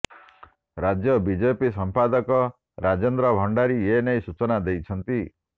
ରାଜ୍ୟ ବିଜେପି ସମ୍ପାଦକ ରାଜେନ୍ଦ୍ର ଭଣ୍ଡାରୀ ଏନେଇ ସୂଚନା ଦେଇଛନ୍ତି